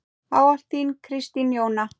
Ávallt þín, Kristín Jóna.